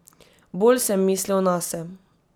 Bolj sem mislil nase.